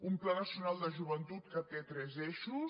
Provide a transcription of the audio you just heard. un pla nacional de joventut que té tres eixos